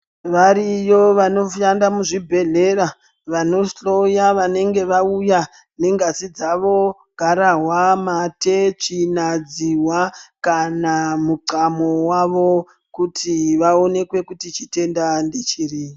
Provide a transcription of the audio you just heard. Variyo vanoshanda muzvibhehlera, vanohloya vanenge vauya nengazi dzavo, garahwa , mate, tsvina, dzihwa kana muthamo wavo kuti vaonekwe kuti chitenda ndechiri.